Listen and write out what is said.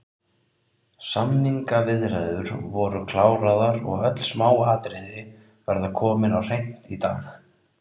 Samningaviðræður voru kláraðar og öll smáatriði verða komin á hreint í dag